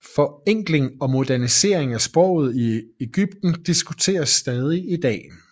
Forenkling og modernisering af sproget i Egypten diskuteres stadig i dag